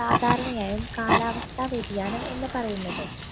സാധാരണയായും കാലാവസ്ഥാ വ്യതിയാനം എന്ന് പറയുന്നത്